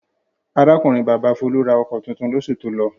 Arákùnrin-bàbá Folú ra ọkọ̀ tuntun lóṣù tó lọ.